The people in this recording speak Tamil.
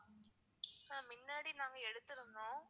ma'am மின்னாடி நாங்க எடுத்துருந்தோம்.